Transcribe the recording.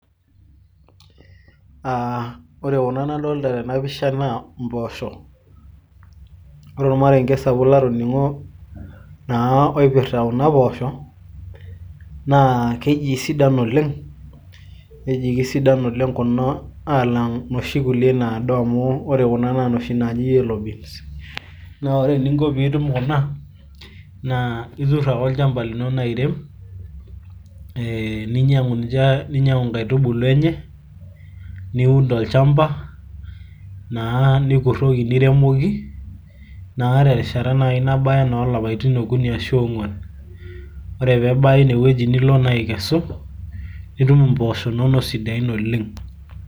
ore kuna nadoolta tena pisha naa poosho. ore ormarenke latoningo lekuna poosho. naa keji isidan oleng aalang inoshi naado amu ore kuna naa inoshi naaji yellow beans na ore eninko pee itum kuna, itur ake olchampa lino airem, ninyiang'u inkaitubulu enye, niun tolchampa, naa nikuroki, niremoki te rishata oolapaitin okuni ashu oong'uan. ore pee ebaya ine wueji nilo naa aikesu. nitum impoosho inono sidain oleng.